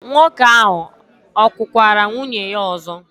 Nwoke ahụ kụkwara nwunye ya ọzọ?